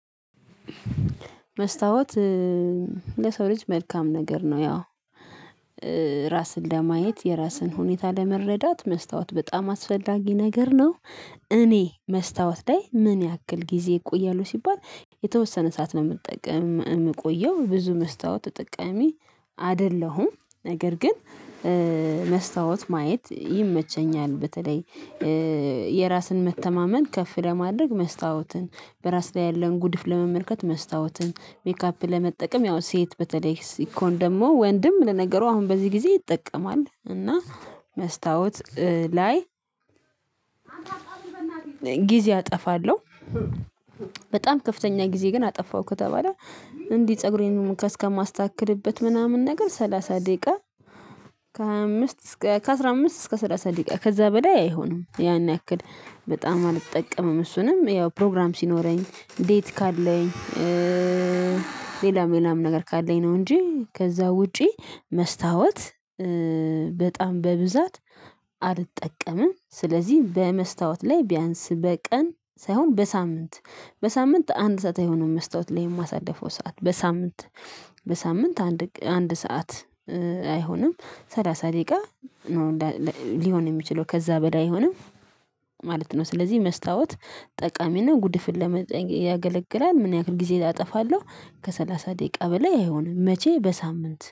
መስታወት ለሰው ልጅ መልካም ነገር ነው። ያው ራስን ለማየት የራስን ሁኔታ ለመረዳት መስታወት በጣም አስፈላጊ ነገር ነው። እኔ መስታወት ላይ ምን ያክል ጊዜ ይቆያሉ ሲባል የተወሰነ ሰዓት ነው የምትጠቀም የምትቆየው ብዙ መስታወት ተጠቃሚ አይደለሁም። ነገር ግን መስታወት ማየት ይመቸኛል። በተለይ የራስን መተማመን ከፍ ለማድረግ መስታወትን በራስ ላይ ያለን ጉድፍ ለመመልከት መስታወትን ሜካፕን ለመጠቀም ያው ሴት በተለይ ሲኮን ደግሞ ወንድም ለነገሩ አሁን በዚህ ጊዜ ይጠቀማል። እና መስታወት ላይ ጊዜ አጠፋለሁ። በጣም ከፍተኛ ጊዜ ግን አጠፋሁ ከተባለ እንዲህ ፀጉሬን እሙካ እስከማስታክልበት ምናምን ነገር ሰላሳ ደቂቃ ከሃያ አምስት እስከ አስራ አምስት እስከ ሰላሳ ደቂቃ ከዛ በላይ አይሆንም። ያን ያክል በጣም አልጠቀምም እሱንም ያው ፕሮግራም ሲኖረኝ ዴት ካለኝ። ሌላም ሌላም ነገር ካለኝ ነው እንጂ ከዛ ውጪ መስታወት በጣም በብዛት አልጠቀምም። ስለዚህ በመስታወት ላይ ቢያንስ በቀን ሳይሆን በሳምንት በሳምንት አንድ ሰዓት የሆነው መስታወት ላይ የማሳደፈው ሰዓት በሳምንት በሳምንት አንድ አንድ ሰዓት አይሆንም ሰላሳ ደቂቃ ነው ሊሆን የሚችለው ከዛ በዳ አይሆንም ማለት ነው። ስለዚህ መስታወት ጠቃሚና ጉድፍን ለመጠየቅ ያገለግላል። ምን ያክል ጊዜ አጠፋለሁ? ከሰላሳ ደቂቃ በላይ አይሆንም መቼ በሳምንት